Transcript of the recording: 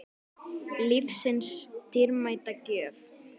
Lífsins dýrmæta gjöf.